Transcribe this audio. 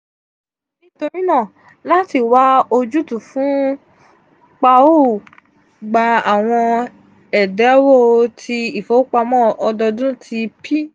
nitorinaa lati wa ojutu fun p a o gba awon edawo ti ifowopamọ ọdọọdun ti p